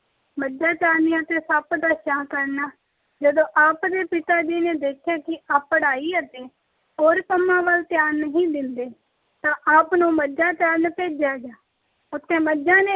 ਮੱਝਾਂ ਚਾਰਨੀਆਂ ਤੇ ਸੱਪ ਦਾ ਛਾਂ ਕਰਨਾ- ਜਦੋਂ ਆਪ ਦੇ ਪਿਤਾ ਜੀ ਨੇ ਦੇਖਿਆ ਕਿ ਆਪ ਪੜ੍ਹਾਈ ਅਤੇ ਹੋਰ ਕੰਮਾਂ ਵੱਲ ਧਿਆਨ ਨਹੀਂ ਦਿੰਦੇ ਤਾਂ ਆਪ ਨੂੰ ਮੱਝਾਂ ਚਾਰਨ ਭੇਜਿਆ ਗਿਆ। ਉੱਥੇ ਮੱਝਾਂ ਨੇ